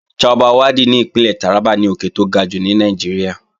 Chabbal Waddi ní Ìpínlẹ̀ Tàrábà ni òkè tó ga jùlọ ní Nàìjíríà